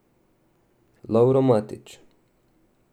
Lovro Matič?